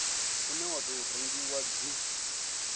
une wa tou rengiwa dzi